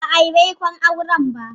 Ba'a yi baikon auren ba.